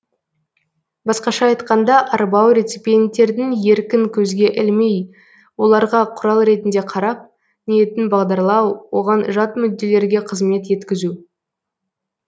басқаша айтқанда арбау реципиенттердің еркін көзге ілмей оларға құрал ретінде қарап ниетін бағдарлау оған жат мүдделерге қызмет еткізу